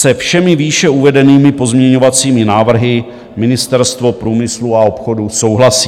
Se všemi výše uvedenými pozměňovacími návrhy Ministerstvo průmyslu a obchodu souhlasí.